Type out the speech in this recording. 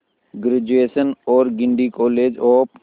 graduation और Guindy college of